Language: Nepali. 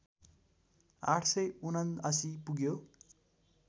८७९ पुग्यो